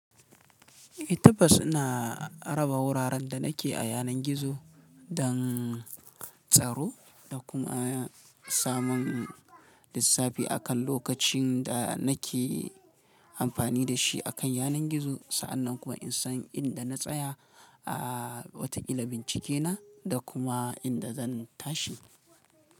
Tabbas ina raba wuraren da nake a yanar gizo don tsaro da kuma samun lissafi akan lokacin da nake amfani da shi akan yanar gizo. Sa'annan kuma in san inda na tsaya a wata bincike na da kuma inda zan tashi.